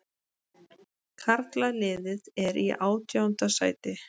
Karlaliðið er í átjánda sæti